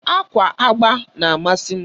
Ákwà agba na-amasị m.